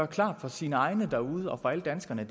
klart for sine egne derude og for alle danskerne at